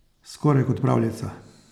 Skoraj kot pravljica.